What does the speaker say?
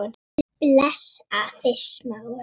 Bless afi Smári.